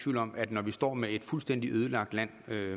tvivl om at når vi står med et fuldstændig ødelagt land